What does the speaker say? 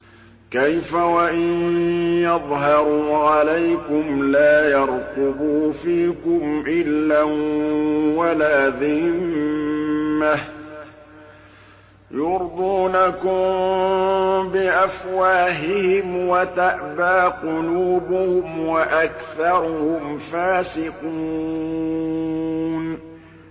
كَيْفَ وَإِن يَظْهَرُوا عَلَيْكُمْ لَا يَرْقُبُوا فِيكُمْ إِلًّا وَلَا ذِمَّةً ۚ يُرْضُونَكُم بِأَفْوَاهِهِمْ وَتَأْبَىٰ قُلُوبُهُمْ وَأَكْثَرُهُمْ فَاسِقُونَ